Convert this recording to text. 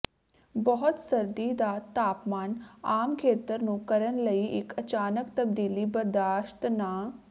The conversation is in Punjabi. ਬਹੁਤ ਸਰਦੀ ਦਾ ਤਾਪਮਾਨ ਆਮ ਖੇਤਰ ਨੂੰ ਕਰਨ ਲਈ ਇੱਕ ਅਚਾਨਕ ਤਬਦੀਲੀ ਬਰਦਾਸ਼ਤ ਨਾ